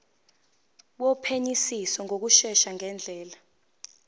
wophenyisiso ngokushesha ngendlela